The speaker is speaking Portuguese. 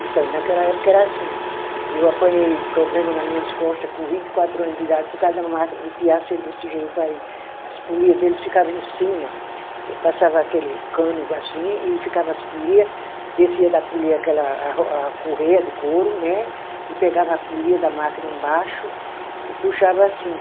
Então, naquela época era assim, eu apanhei problema na minhas costa com vinte e quatro anos de idade por causa da máquina, o tear ser desse jeito aí, as polia deles ficava em cima, passava aquele cano assim e ficava as polia, descia da polia aquela a ro, a correia de couro né, e pegava a polia da máquina embaixo e puxava assim.